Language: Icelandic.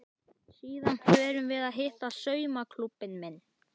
Síðan förum við að hitta saumaklúbbinn minn.